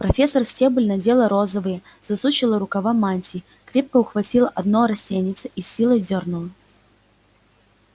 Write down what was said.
профессор стебль надела розовые засучила рукава мантии крепко ухватила одно растеньице и с силой дёрнула